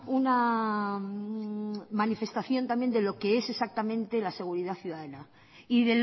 una manifestación también de lo que es exactamente la seguridad ciudadana y